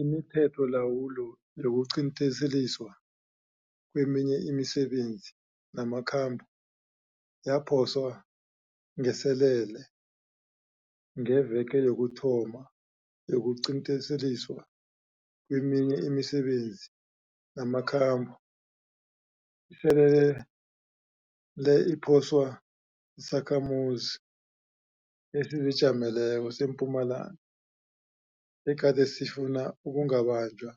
Imithetholawulo yokuqinteliswa kweminye imisebenzi namakhambo yaphoswa ngeselele ngeveke yokuthoma yokuqinteliswa kweminye imisebenzi namakhambo, iselele le iphoswa sisakhamuzi esizijameleko seMpumalanga egade sifuna ukungabanjwa